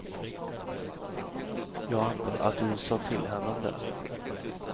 Jag antar att du sa till henne om det.